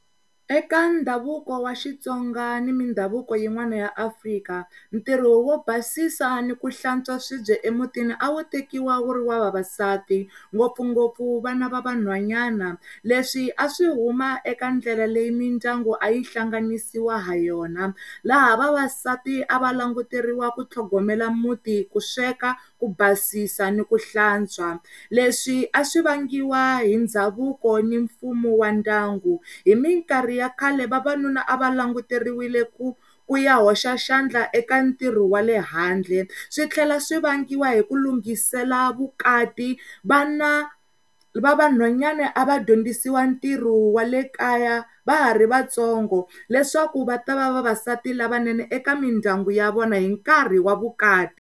Eka ndhavuko wa Xitsonga ni mi ndhavuko yi n'wani ya Afrika ntirho wo basisiwa ni ku hlantswa swibye emutini a wu tekiwa wu ri wa vavasati ngopfungopfu vana va vanhwanyani le swi a swi huma eka ndlela leyi mindyangu a yi hlanganisawa ha yona laha vavasati a va languteriwa ku tlhogomela muti ku sweka, ku basisiwa ni ku hlantswa le swi a swivangiwa hi ndhavuko ni mfumo wa ndyangu. Hi minkarhi ya khale vavanuna a va languteriweke ku ku ya hoxa xandla eka ntirho wa le handle switlhela swivangiwa hi ku lunghisela vukati vana va vanhwanyani a va dyondzisiwa ntirho wa le kaya vahari va tsongo leswaku va ta va vavasati lavanene hinkarhi wa vukati.